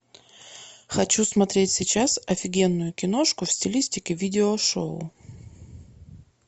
хочу смотреть сейчас офигенную киношку в стилистике видео шоу